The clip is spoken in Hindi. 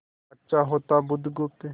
अच्छा होता बुधगुप्त